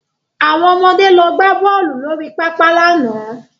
Àwọn ọmọde lọ gbá bọ́ọ̀lù lórí pápá lánàá